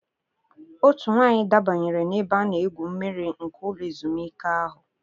Otu nwaanyị dabanyere n'ebe a na-egwu mmiri nke ụlọ ezumike ahụ.